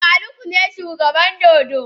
Eh Faruk shine shugaban dodo.